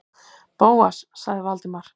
Bóas- sagði Valdimar.